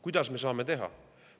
Kuidas me saame seda teha?